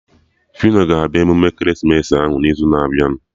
Fino ga-abịa emume ekeresimesi ahụ n'izu na-abịa